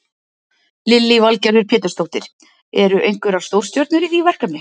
Lillý Valgerður Pétursdóttir: Eru einhverjar stórstjörnur í því verkefni?